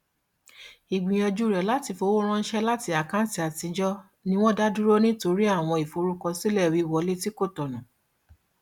ìgbìyànjú rẹ láti fi owó ránṣẹ láti àkáǹtì àtijọ ni wọn dá dúró nítorí àwọn ìforúkọsílẹ wíwọlé tí kò tọnà